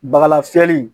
Bagalafiɲɛ in